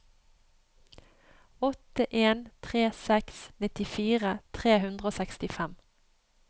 åtte en tre seks nittifire tre hundre og sekstifem